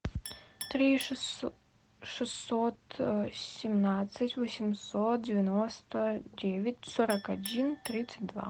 три шестьсот семнадцать восемьсот девяносто девять сорок один тридцать два